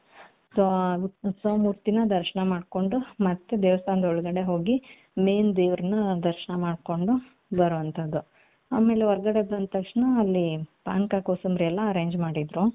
so ಆ ಉತ್ಸವ ಮೂರ್ತಿ ನ ದರ್ಶನ ಮಾಡ್ಕೊಂಡು ಮತ್ತೆ ದೇವಸ್ತಾನ ಹೊಳಗಡೆ ಹೋಗಿ main ದೇವರ್ನ ದರ್ಶನ ಮಾಡ್ಕೊಂಡು ಬರೋವನ್ತದು ಆಮೇಲೆ ಹೊರಗಡೆ ಬಂದ್ ತಕ್ಷಣ ಅಲ್ಲಿ ಪಾನಕ ಕೋಸಂಬರಿ ಎಲ್ಲಾ arrange ಮಾಡಿದ್ರು